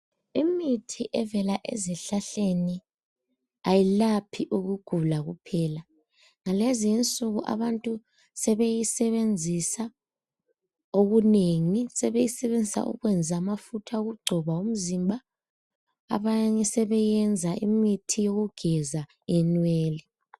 Imithi evela ezihlahleni ayilaphi ukugula kuphela. Ngalezi insuku abantu sebeyisebenzisa okunengi. Sebeyisebenzisa ukwenza amafutha okugcoba umzimba abanye njalo imithi yokugeza inwele.